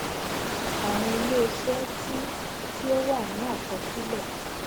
àwọn iléiṣẹ tí tí ó wà ní àkọsílẹ